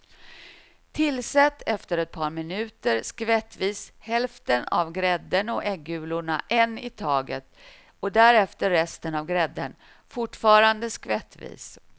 Tillsätt efter ett par minuter skvättvis hälften av grädden och äggulorna en i taget och därefter resten av grädden, fortfarande skvättvis.